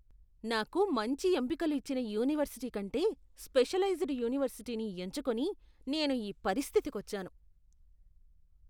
నాకు మంచి ఎంపికలు ఇచ్చిన యూనివర్సిటీ కంటే స్పెషలైజ్ద్ యూనివర్సిటీని ఎంచుకొని నేను ఈ పరిస్థితికొచ్చాను.